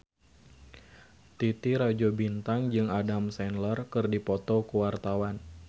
Titi Rajo Bintang jeung Adam Sandler keur dipoto ku wartawan